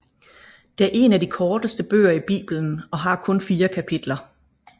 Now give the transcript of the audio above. Det er en af de korteste bøger i Bibelen og har kun fire kapitler